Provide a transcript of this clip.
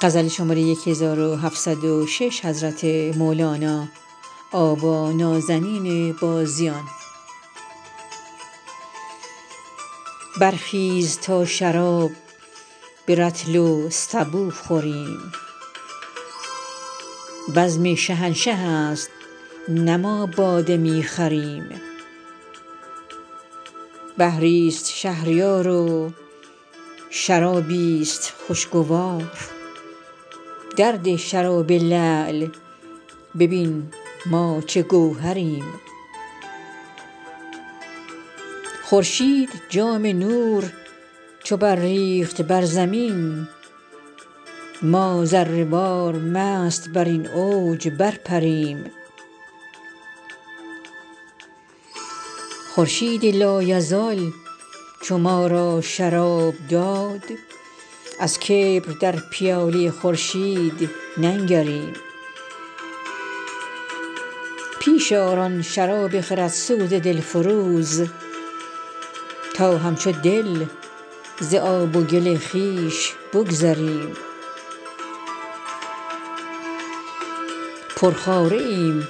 برخیز تا شراب به رطل و سبو خوریم بزم شهنشه ست نه ما باده می خریم بحری است شهریار و شرابی است خوشگوار درده شراب لعل ببین ما چه گوهریم خورشید جام نور چو برریخت بر زمین ما ذره وار مست بر این اوج برپریم خورشید لایزال چو ما را شراب داد از کبر در پیاله خورشید ننگریم پیش آر آن شراب خردسوز دلفروز تا همچو دل ز آب و گل خویش بگذریم پرخواره ایم